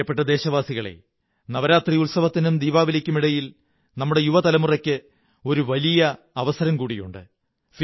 പ്രിയപ്പെട്ട ദേശവാസികളേ നവരാത്രി ഉത്സവത്തിനും ദീപാവലിക്കുമിടയിൽ നമ്മുടെ യുവതലമുറയ്ക്ക് ഒരു വളരെ വലിയ അവസരം കൂടിയുണ്ട്